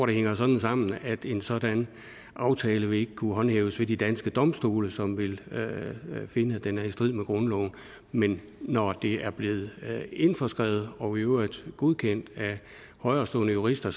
det hænger sådan sammen at en sådan aftale ikke vil kunne håndhæves ved de danske domstole som vil finde at den er i strid med grundloven men når det er blevet indskrevet og i øvrigt godkendt af højerestående jurister